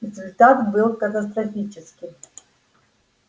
результат был катастрофическим